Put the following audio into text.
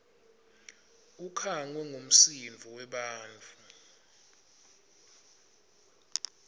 ukhangwe ngumsindvo webantfu